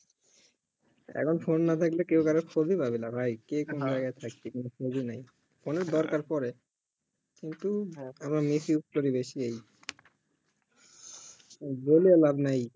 এখন ফোন না থাকলে কেউ কারোর খোঁজ ই পাবে না ভাই কে কোনও খোঁজ ই নাই ফোন এর দরকার পরে কিন্তু আমার miss use করি বেশি এই বলে লাভ না